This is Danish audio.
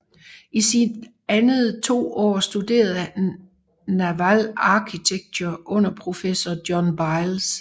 I sine andet to år studerede han Naval Architecture under professor John Biles